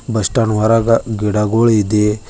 Bus stand ಹೊರಗ ಗಿಡಗಳ್ ಇದೆ.